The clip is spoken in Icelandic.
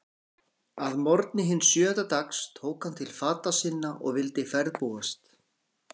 Að morgni hins sjöunda dags tók hann til fata sinna og vildi ferðbúast.